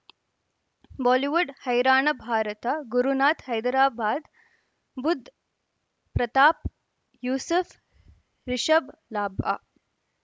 Bollywood ಹೈರಾಣ ಭಾರತ ಗುರುನಾಥ್ ಹೈದರಾಬಾದ್ ಬುಧ್ ಪ್ರತಾಪ್ ಯೂಸುಫ್ ರಿಷಬ್ ಲಾಭ